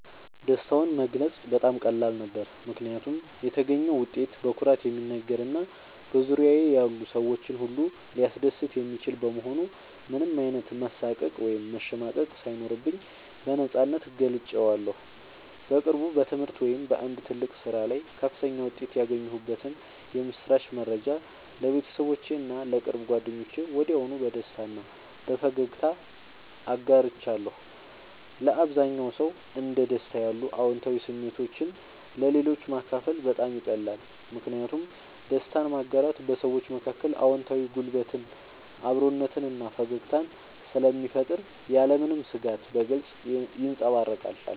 ደስታውን መግለጽ በጣም ቀላል ነበር፦ ምክንያቱም የተገኘው ውጤት በኩራት የሚነገር እና በዙሪያዬ ያሉ ሰዎችን ሁሉ ሊያስደስት የሚችል በመሆኑ ምንም አይነት መሳቀቅ ወይም መሸማቀቅ ሳይኖርብኝ በነፃነት ገልጬዋለሁ። በቅርቡ በትምህርት ወይም በአንድ ትልቅ ስራ ላይ ከፍተኛ ውጤት ያገኘሁበትን የምስራች መረጃ ለቤተሰቦቼ እና ለቅርብ ጓደኞቼ ወዲያውኑ በደስታ እና በፈገግታ አጋርቻለሁ። ለአብዛኛው ሰው እንደ ደስታ ያሉ አዎንታዊ ስሜቶችን ለሌሎች ማካፈል በጣም ይቀላል። ምክንያቱም ደስታን ማጋራት በሰዎች መካከል አዎንታዊ ጉልበትን፣ አብሮነትን እና ፈገግታን ስለሚፈጥር ያለምንም ስጋት በግልጽ ይንጸባረቃል።